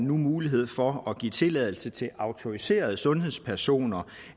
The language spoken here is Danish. mulighed for at give tilladelse til at autoriserede sundhedspersoner